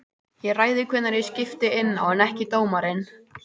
Ég ræð því hvenær ég skipti inná en ekki dómarinn.